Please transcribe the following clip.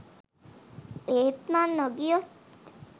ඒත් මං නොගියොත්